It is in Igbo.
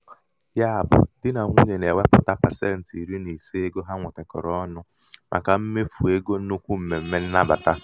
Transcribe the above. ya bụ̄ di bụ̄ di nà nwunyè na-èwepùta pasentị iri nà ise ego ha nwètèkọ̀rọ̀ ọnụ̄ màkà mmèfù egō nnukwu m̀mèm̀me nnabàta.